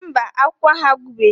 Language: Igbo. Mba, akụkọ ahụ agwụbeghị